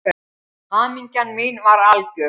Hamingja mín var algjör.